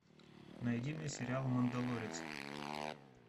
найди мне сериал мандалорец